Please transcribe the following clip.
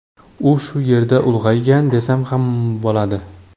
U shu yerda ulg‘aygan, desam ham bo‘ladi.